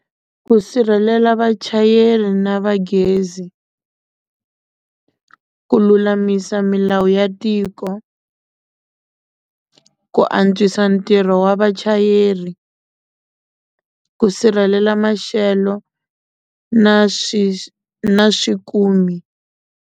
Ku sirhelela vachayeri na va gezi ku lulamisa milawu ya tiko ku antswisa ntirho wa vachayeri ku sirhelela maxelo na swi na .